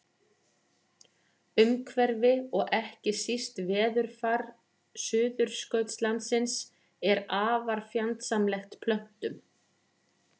Umhverfi og ekki síst veðurfar Suðurskautslandsins er afar fjandsamlegt plöntum.